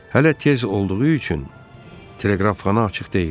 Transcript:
Hələ tez olduğu üçün teleqrafxana açıq deyildi.